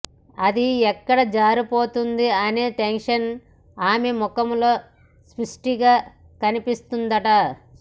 అది ఎక్కడ జారిపోతుంది అనే టెన్షన్ ఆమె ముఖంలో స్పష్టంగా కనిపించిందట